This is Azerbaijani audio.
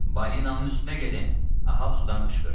Balinanın üstünə gedin, Ahab sudan qışqırdı.